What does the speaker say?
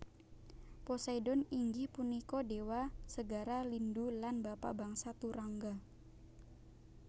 Poseidon inggih punika déwa segara lindhu lan bapa bangsa turangga